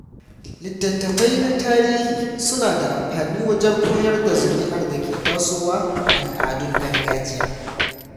Littattafai na tarihi suna da amfani wajen koyar da zuri'ar da ke tasowa al'adun gargajiya.